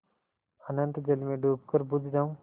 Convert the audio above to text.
अनंत जल में डूबकर बुझ जाऊँ